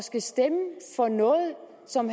som